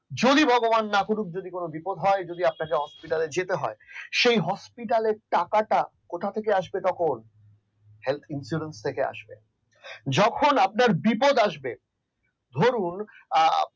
যদি ভগবান না করুক যদি কোন বিপদ হয় যদি আপনাকে hospital যেতে হয় সেই hospital টাকাটা কোথা থেকে আসবে তখন health insurance থেকে আসবে যখন আপনার বিপদ আসবে ধরুন